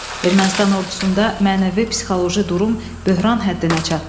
Ermənistan ordusunda mənəvi-psixoloji durum böhran həddinə çatdı.